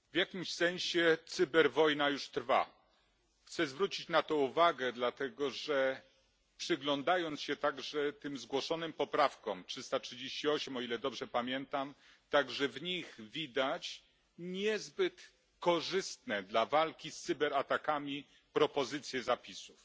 Pani Przewodnicząca! W jakimś sensie cyberwojna już trwa. Chcę zwrócić na to uwagę dlatego, że przyglądając się także tym zgłoszonym poprawkom 338, o ile dobrze pamiętam także w nich widać niezbyt korzystne dla walki z cyberatakami propozycje zapisów.